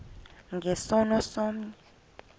nge sono somnye